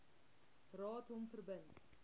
raad hom verbind